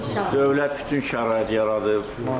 Dövlət bütün şəraiti yaradıb.